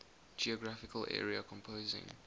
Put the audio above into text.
geographical area composing